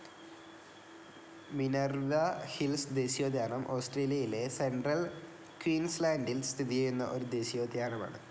Minerva hills ദേശീയോദ്യാനം ഓസ്ട്രേലിയയിലെ central ക്വീൻസ്ലാൻഡിൽ സ്ഥിതിചെയ്യുന്ന ഒരു ദേശീയോദ്യാനമാണ്.